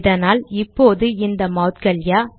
இதானால் இப்போது இந்த மௌட்கல்யா